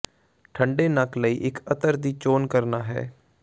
ਠੰਡੇ ਨੱਕ ਲਈ ਇੱਕ ਅਤਰ ਦੀ ਚੋਣ ਕਰਨਾ ਹੈ